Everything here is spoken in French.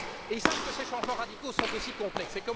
Ils savent que ces changements radicaux sont aussi complexes.